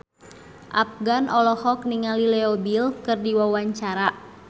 Afgan olohok ningali Leo Bill keur diwawancara